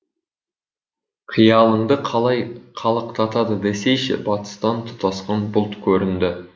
қиялыңды қалай қалықтатады десейші батыстан тұтасқан бұлт көрінді